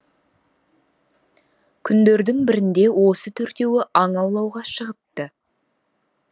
күндердің бірінде осы төртеуі аң аулауға шығыпты